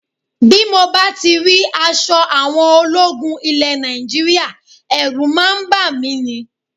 Bí mo bá ti rí aṣọ àwọn ológun ilẹ̀ Nàìjíríà, ẹ̀rù máa ń bà mí ní